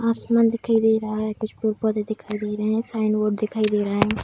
आसमान दिखाई दे रहा है कुछ पेड़-पौधे दिखाई दे रहे है साइन बोर्ड दिखाई दे रहा है।